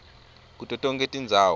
kuto tonkhe tindzawo